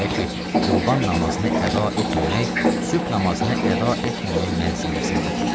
Belə ki, Qurban namazını əda etməmək sübh namazını əda etməmək mənzilləsindədir.